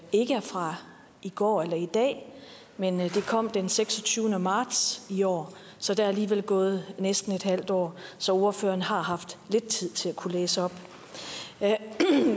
ikke er fra i går eller i dag men at det kom den seksogtyvende marts i år så der er alligevel gået næsten et halvt år så ordføreren har haft lidt tid til at kunne læse op